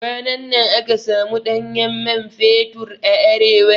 Kwanan nan aka samu ɗanyen man fetur a Arewa